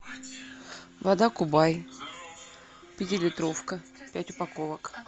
вода кубай пятилитровка пять упаковок